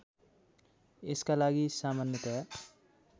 यसका लागि सामान्यतया